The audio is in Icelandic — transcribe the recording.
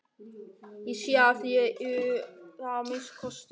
Ég sé að þér eruð það að minnsta kosti.